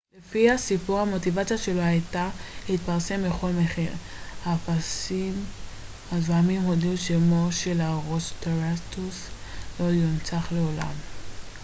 לפי הסיפור המוטיבציה שלו הייתה להתפרסם בכל מחיר האפסיים הזועמים הודיעו שמו של הרוסטראטוס לא יונצח לעולם